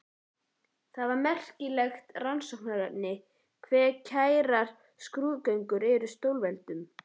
Það er merkilegt rannsóknarefni hve kærar skrúðgöngur eru stórveldum.